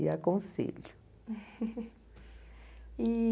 E aconselho. e